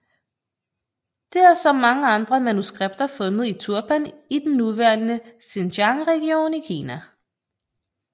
Det er som mange andre manuskripter fundet i Turpan i den nuværende Xinjiang region i Kina